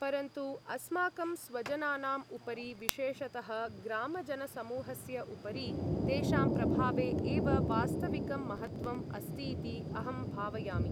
परन्तु, अस्माकं स्वजनानाम् उपरि, विशेषतः ग्रामजनसमूहस्य उपरि तेषां प्रभावे एव वास्तविकं महत्त्वम् अस्तीति अहम् भावयामि।